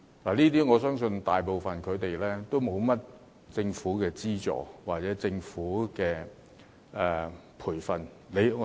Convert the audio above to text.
我相信他們大部分人都沒有得到甚麼政府資助或培訓......